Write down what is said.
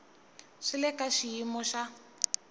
swi le ka xiyimo xa